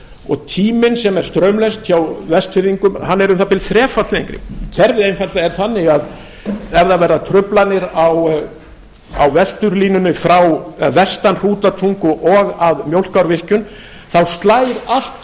og tíminn sem er straumlaust hjá vestfirðingum hann er um það bil þrefalt lengri kerfið einfaldlega er þannig að ef það verða truflanir á vesturlínunni vestan hrútatungu og að mjólkárvirkjun þá slær allt